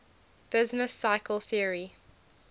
business cycle theory